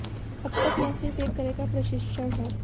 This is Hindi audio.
अब तक यह सिर्फ एक तरह का प्रशिक्षण है